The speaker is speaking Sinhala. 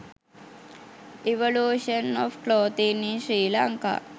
evolution of clothing in sri lanka